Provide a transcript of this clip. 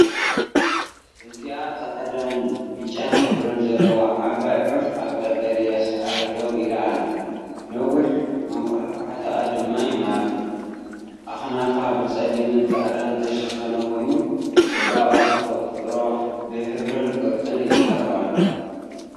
እዚኣ ጻዕዳን ብጫን ሕብሪ ዘለዋ ዓባይ ዑፍ ኣብ ቀጠልያ ሳዕሪ ደው ኢላ ኣላ፣ ነዊሕ መንቋሕቋሕታኣ ድማ ይማርኽ። ኣኽናፋ ብጸሊምን ጻዕዳን ዝተሸፈነ ኮይኑ፡ ጽባቐ ተፈጥሮ ብሕብርን ቅርጽን ይዛረብ ኣሎ።